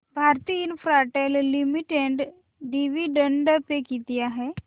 Bharti Infratel Limited dividend पे किती आहे